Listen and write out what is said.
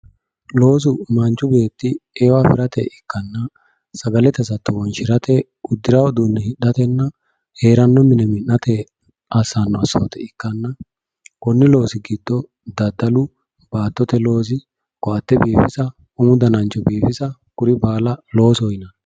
Loosu manchi beetti eo affirate ikkanonna sagalete hasatto wonshirate uddirano uduune hidhatenna heerano mine mi'nate assano assote ikkanna koni loosi giddo daddalu baattote loosi koatte biifissa umu danancho biifissa kuri baalla loosoho yinanni.